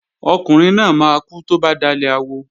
Ọkùnrin náà máa kú tó bá dalẹ̀ awo